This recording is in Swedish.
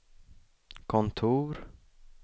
kontor